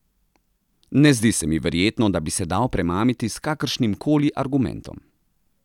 Ne zdi se mi verjetno, da bi se dal premamiti s kakršnimkoli argumentom.